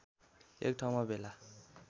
एक ठाउँमा भेला